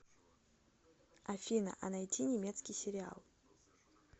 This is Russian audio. афина а найти немецкий сериал